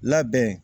Labɛn